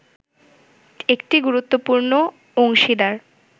একটি গুরুত্বপূর্ণ অংশীদার